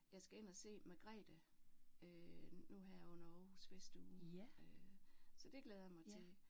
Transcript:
Jeg skal ind og se Margrethe øh nu her under Aarhus Festuge øh så det glæder jeg mig til